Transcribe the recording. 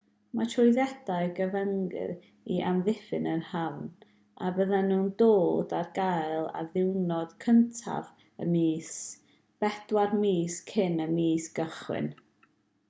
mae trwyddedau'n gyfyngedig i amddiffyn yr hafn a byddan nhw'n dod ar gael ar ddiwrnod 1af y mis bedwar mis cyn y mis cychwyn